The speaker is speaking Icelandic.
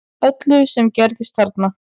Öllu sem gerðist þarna